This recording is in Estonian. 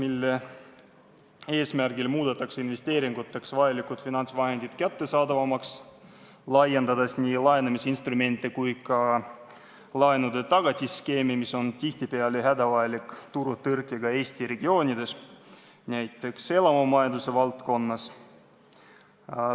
Sel eesmärgil muudetakse investeeringuteks vajalikud finantsvahendid kättesaadavamaks, laiendades nii laenamisinstrumente kui ka laenutagatiste skeemi, mis on tihtipeale hädavajalik turutõrkega Eesti regioonides, näiteks elamumajanduse valdkonnas.